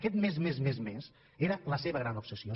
aquest més més més era la seva gran obsessió